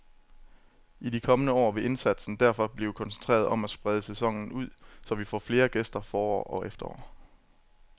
I de kommende år vil indsatsen derfor blive koncentreret om at sprede sæsonen ud, så vi får flere gæster forår og efterår.